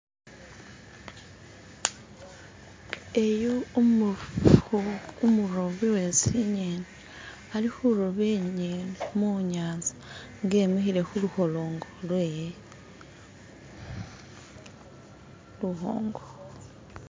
eyu umufubu umurobi wesinyeni ali huroba inyeni munyanza nga imihile huluholongo lwewe luhongo